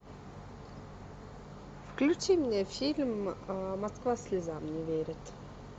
включи мне фильм москва слезам не верит